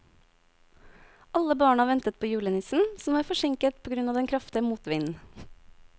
Alle barna ventet på julenissen, som var forsinket på grunn av den kraftige motvinden.